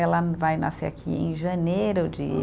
Ela vai nascer aqui em janeiro de